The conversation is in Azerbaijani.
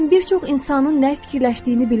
Mən bir çox insanın nə fikirləşdiyini bilirəm.